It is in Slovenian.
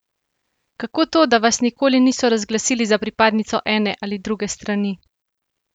Kako to, da vas nikoli niso razglasili za pripadnico ene ali druge strani?